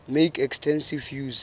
make extensive use